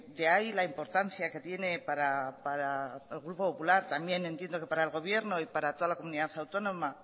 de ahí la importancia que tiene para el grupo popular también entiendo que para el gobierno y para toda la comunidad autónoma